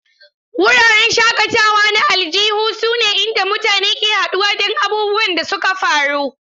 Wuraren shakatawa na aljihu sune inda mutane ke haɗuwa don abubuwan da suka faru.